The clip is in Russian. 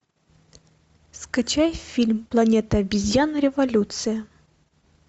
скачай фильм планета обезьян революция